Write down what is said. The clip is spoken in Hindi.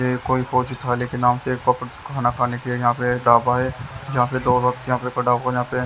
ये कोई फोरसीट वाले के नाम से ये एक प्रॉपर खाना खाने के लिए ढाबा हैजहाँ पे दो लोग यहाँ पड़ा हुआ यहाँ पे।